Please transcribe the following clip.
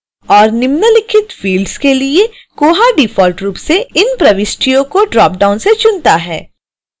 और निम्नलिखित fields के लिए koha डिफ़ॉल्ट रूप से इन प्रविष्टियों को ड्रॉप डाउन से चुनता है